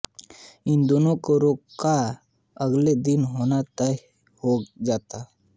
उन दोनों का रोका अगले दिन होना तय हो जाता है